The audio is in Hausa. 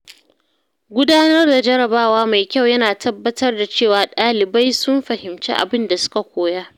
Gudanar da jarrabawa mai kyau yana tabbatar da cewa ɗalibai sun fahimci abin da suka koya.